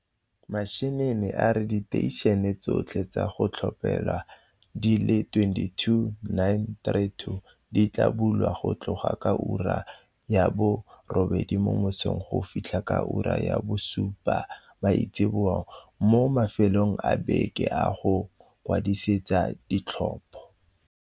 Mashinini a re diteišene tso tlhe tsa go tlhophela di le 22 932 di tla bulwa go tloga ka ura ya bo 08h00 mo mososng go fitlha ka ura ya bo 17h00 maitsiboa mo mafelong a beke a go ikwadisetsa ditlhopho.